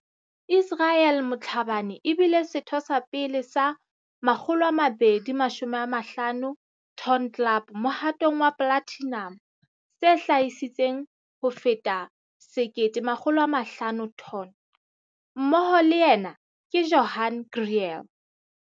Israel Motlhabane e bile setho sa pele sa 250 Ton Club mohatong wa platinum se hlahisitseng ho feta 1 500 ton. Mmoho le yena ke Johan Kriel.